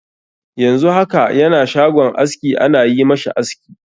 Yanzu haka yana shagon aski ana yi ma shi aski.